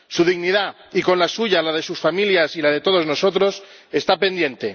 Su dignidad, y con la suya la de sus familias y la de todos nosotros, está pendiente.